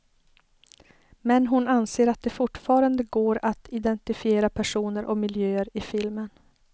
Men hon anser att det fortfarande går att identifiera personer och miljöer i filmen.